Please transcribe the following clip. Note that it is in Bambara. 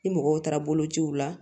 Ni mɔgɔw taara bolociw la